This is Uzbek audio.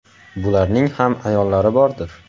Bularning ham ayollari bordir.